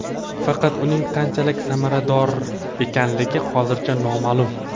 Faqat uning qanchalik samarador ekanligi hozircha noma’lum.